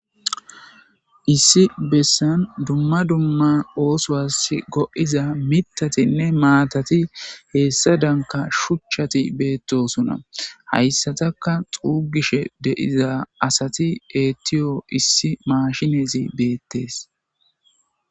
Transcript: Issi bessan dumma dumma oosuwas go'iza mitatinne maatati heessa danka shuchchati beettosona. Hayssataka xuugishe de'iza asati eettiyo issi mashinezi beettees.